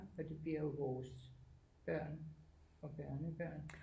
Fordi vi er jo vores børn og børnebørn